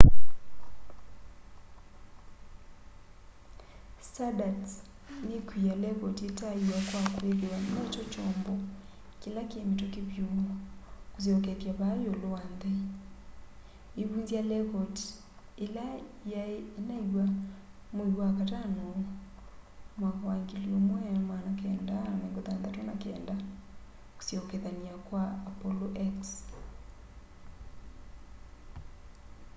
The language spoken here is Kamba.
stardust nikwia lekoti itaaiwa kwa kwithwa nokyo kyombo kila ki mituki vyu kusyokethya vaa iulu wa nthi iivunzya lekoti ila yai inaiwa mwei wakatano 1969 kusyokethyani kwa apollo x